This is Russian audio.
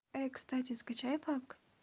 кстати скачай пабг